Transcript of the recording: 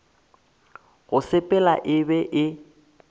go sepela e be e